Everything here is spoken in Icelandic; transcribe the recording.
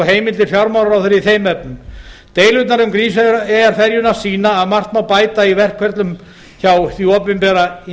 heimildir fjármálaráðherra í þeim efnum deilurnar um grímseyjarferjuna sýna að margt má bæta í verkferlum hjá því opinbera og í